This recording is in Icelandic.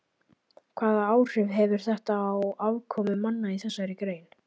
Hvaða áhrif hefur þetta á afkomu manna í þessari grein?